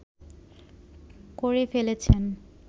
করে ফেলেছেন